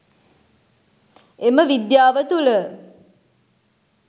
එම විද්‍යාව තුළ